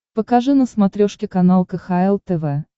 покажи на смотрешке канал кхл тв